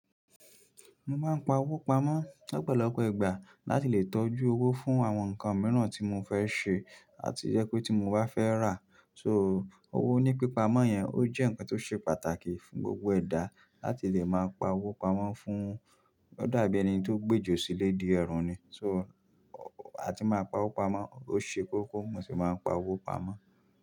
Mo máa ń pa owó pamọ́ lọ́pọ̀lọpọ̀ ìgbà láti lè tọ́jú owó fún àwọn nǹkan mìíràn tí mo fẹ́ ṣe àti jẹ pé tí mo bá fẹ́ rà. So, owó ní pípamọ́ yẹn ó jẹ́ ǹkan tó ṣe pàtàkì fún gbogbo ẹ̀dá láti lè máa páwó pamọ́ fún, ó dàbí ẹni tó gbejo sílẹ̀ de ẹ̀ẹ̀rùn ni so a ti máa ń pa owó pamọ́, ó ṣe kókó mo sì máa ń pa owó pamọ́.